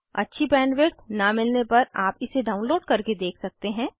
अच्छी बैंडविड्थ न मिलने पर आप इसे डाउनलोड करके देख सकते हैं